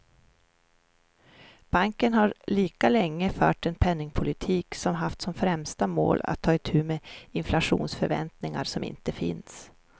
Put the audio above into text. Banken har lika länge fört en penningpolitik som haft som främsta mål att ta itu med inflationsförväntningar som inte finns.